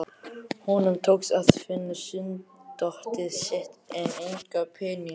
Honum tókst að finna sunddótið sitt en enga peninga.